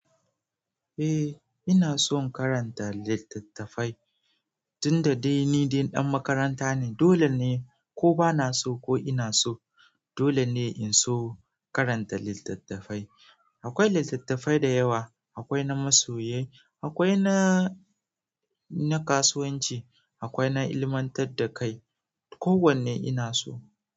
Eh ina son karanta littattafai, tunda dai ni dai dan makaranta ne dole ne. Ko bana so ko ina so dole ne in so karanta littattafai. Akwai littattafai da yawa, akwai na masoyi, akwai na, na kasuwanci, akwai na ilmantar da kai. Ko wanne ina so.